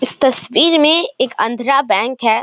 इस तस्वीर में एक आंद्रा बैंक है।